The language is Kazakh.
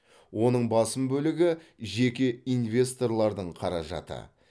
оның басым бөлігі жеке инвесторлардың қаражаты